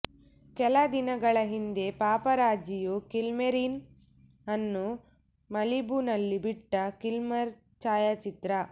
ಕೆಲ ದಿನಗಳ ಹಿಂದೆ ಪಾಪರಾಜಿಯು ಕಿಲ್ಮೇರಿನ್ ಅನ್ನು ಮಲಿಬುನಲ್ಲಿ ಬಿಟ್ಟ ಕಿಲ್ಮರ್ ಛಾಯಾಚಿತ್ರ